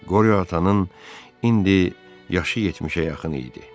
Qoryo atanın indi yaşı 70-ə yaxın idi.